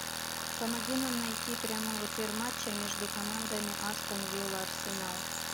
помоги нам найти прямой эфир матча между командами астон вилла арсенал